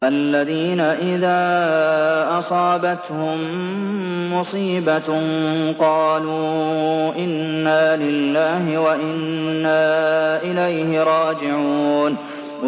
الَّذِينَ إِذَا أَصَابَتْهُم مُّصِيبَةٌ قَالُوا إِنَّا لِلَّهِ وَإِنَّا إِلَيْهِ رَاجِعُونَ